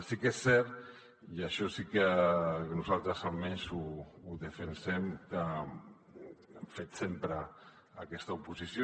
sí que és cert i això sí que nosaltres almenys ho defensem que hem fet sempre aquesta oposició